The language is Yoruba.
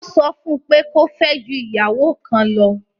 Wọ́n sọ fún pé kó fẹ́ ju ìyàwó kan lọ!